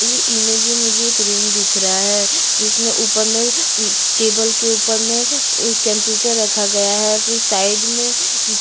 इस इमेज में मुझे एक रूम दिख रहा है जिसमे ऊपर में टेबल के ऊपर में एक कंप्यूटर रखा गया है फिर साइड में --